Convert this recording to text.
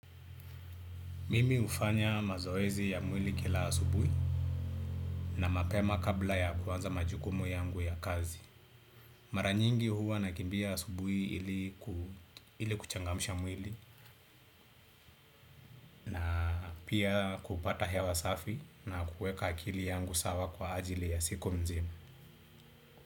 Mimi hufanya mazoezi ya mwili kila asubuhi na mapema kabla ya kuanza majukumu yangu ya kazi maranyingi huwa nakimbia asubuhi ili kuchangamsha mwili pia kupata hewa safi na kuweka akili yangu sawa kwa ajili ya siku mzima.